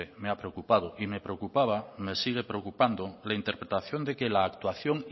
me ha preocupado me preocupaba me sigue preocupando la interpretación de que la actuación